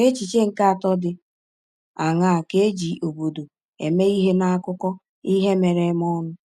N’echiche nke atọ dị aṅaa ka e ji “obodo” eme ihe n’akụkọ ihe mere eme ọnụ?